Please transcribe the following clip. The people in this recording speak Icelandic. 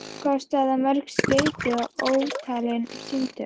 Kostaði það mörg skeyti og ótalin símtöl.